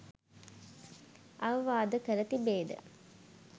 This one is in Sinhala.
අවවාද කර තිබේද?